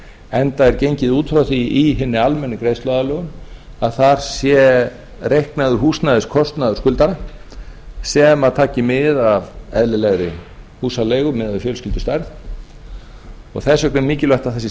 enda er gengið út frá því í hinni almennu greiðsluaðlögun að þar sé reiknaður húsnæðiskostnaður skuldara sem tæki mið af eðlilegri húsaleigu miðað við fjölskyldustærð og þess vegna er mikilvægt að það sé